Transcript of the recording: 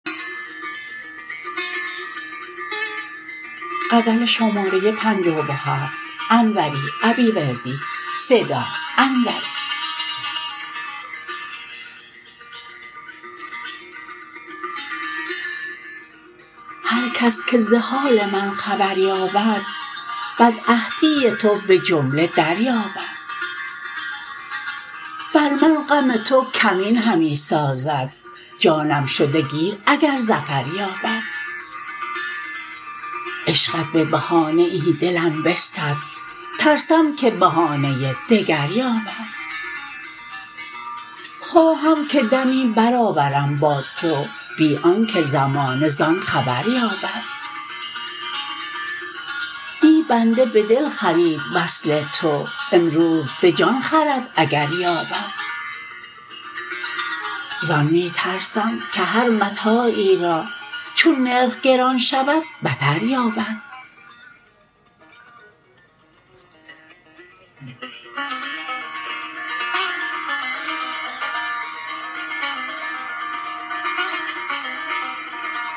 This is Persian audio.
هرکس که ز حال من خبر یابد بدعهدی تو به جمله دریابد بر من غم تو کمین همی سازد جانم شده گیر اگر ظفر یابد عشقت به بهانه ای دلم بستد ترسم که بهانه دگر یابد خواهم که دمی برآورم با تو بی آنکه زمانه زان خبر یابد دی بنده به دل خرید وصل تو امروز به جان خرد اگر یابد زان می ترسم که هر متاعی را چون نرخ گران شود بتر یابد